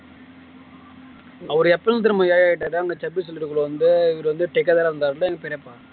அவரு எப்பயிருந்து திரும்ப ஏழை ஆயிட்டாரு அந்த வந்து பெரியப்பா